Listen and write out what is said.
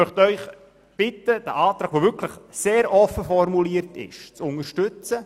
Ich bitte Sie, diesen wirklich sehr offen formulierten Antrag zu unterstützen.